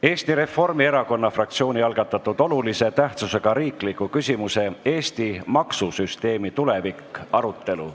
Eesti Reformierakonna fraktsiooni algatatud olulise tähtsusega riikliku küsimuse "Eesti maksusüsteemi tulevik" arutelu.